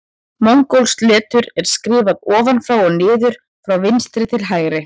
Mongólskt letur er skrifað ofan frá og niður frá vinstri til hægri.